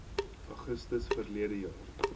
augustus verlede jaar